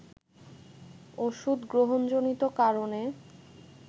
ওষুধ গ্রহণজনিত কারণে